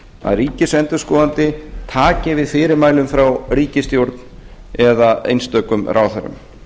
að ríkisendurskoðandi taki við fyrirmælum frá ríkisstjórn eða einstökum ráðherrum